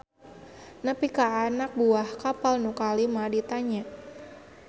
Nepi ka anak buah kapal nu kalima ditanya.